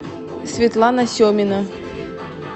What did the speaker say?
светлана семина